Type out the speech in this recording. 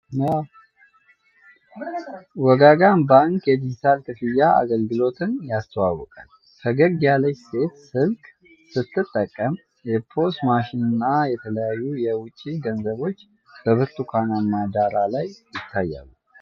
ወጋገን ባንክ የዲጂታል ክፍያ አገልግሎትን ያስተዋውቃል። ፈገግ ያለች ሴት ስልክ ስትጠቀም፣ የፖስ ማሽን እና የተለያዩ የውጭ ገንዘቦች በብርቱካናማ ዳራ ላይ ይታያሉ።